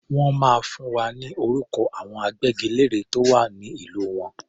Wọ́n máa fún wa ní orúkọ àwọn agbẹ́gilére tó wà ní ìlú wọn.